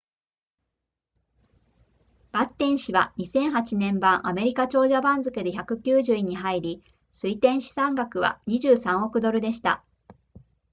バッテン氏は2008年版アメリカ長者番付で190位に入り推定資産額は23億ドルでした